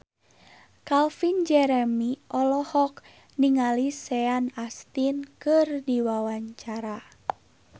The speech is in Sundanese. Calvin Jeremy olohok ningali Sean Astin keur diwawancara